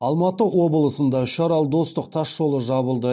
алматы облысында үшарал достық тас жолы жабылды